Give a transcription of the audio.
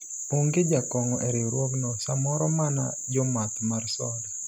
onge jakong'o e riwruogno , samoro mana jomath mar soda